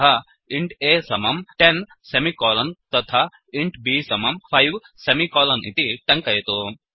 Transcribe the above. अतः int a समम् 10 semicolon तथा इन्ट् b समम् 5 सेमिकोलन् इति टङ्कयतु